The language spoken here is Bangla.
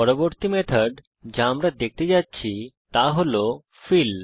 পরবর্তী মেথড যা আমরা দেখতে যাচ্ছি তা হল ফিল